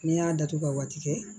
N'i y'a datugu ka waati kɛ